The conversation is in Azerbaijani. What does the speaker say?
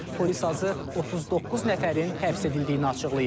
Polis azı 39 nəfərin həbs edildiyini açıqlayıb.